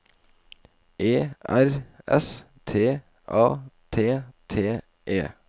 E R S T A T T E